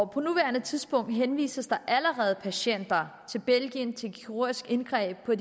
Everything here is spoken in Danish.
på nuværende tidspunkt henvises der allerede patienter til belgien til kirurgisk indgreb på